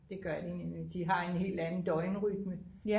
det gør de nemlig de har en helt anden døgnrytme